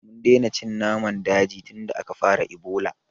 Mun daina cin naman daji tunda aka fara Ebola